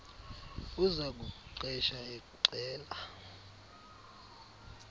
uza kukuqesha exela